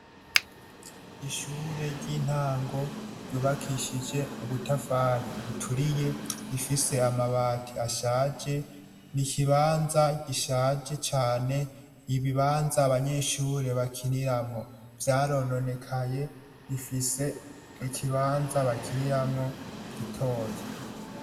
Ishure ry' intango ryubakishije ubutafari buturiye, rifise amabati ashaje, ni ikibanza gishaje cane, ibibanza abanyeshure bakiniramwo vyarononekaye, rifise ikibanza bakiniramwo gitoya.